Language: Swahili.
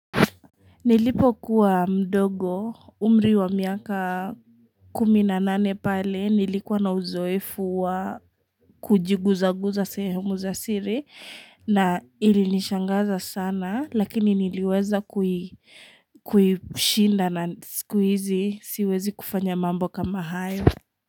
Nilipo kuwa mdogo umri wa miaka kumi na nane pale nilikuwa na uzoefu wa kujiguza guza sehemu za siri na ili nishangaza sana lakini niliweza kushinda na siku hizi siwezi kufanya mambo kama hayo.